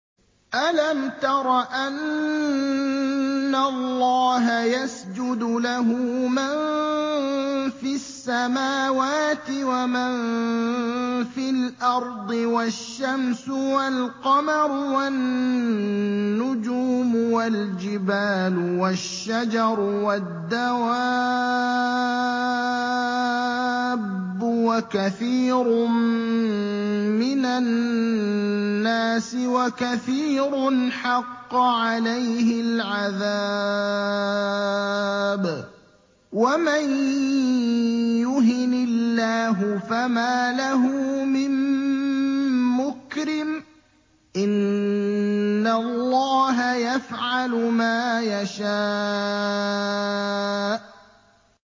أَلَمْ تَرَ أَنَّ اللَّهَ يَسْجُدُ لَهُ مَن فِي السَّمَاوَاتِ وَمَن فِي الْأَرْضِ وَالشَّمْسُ وَالْقَمَرُ وَالنُّجُومُ وَالْجِبَالُ وَالشَّجَرُ وَالدَّوَابُّ وَكَثِيرٌ مِّنَ النَّاسِ ۖ وَكَثِيرٌ حَقَّ عَلَيْهِ الْعَذَابُ ۗ وَمَن يُهِنِ اللَّهُ فَمَا لَهُ مِن مُّكْرِمٍ ۚ إِنَّ اللَّهَ يَفْعَلُ مَا يَشَاءُ ۩